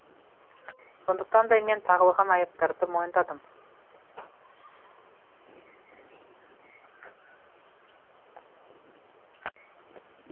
сондықтан да мен тағылған айыптарды мойындадым